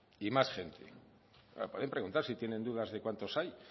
y más gente claro pueden preguntar si tienen dudas de cuántos hay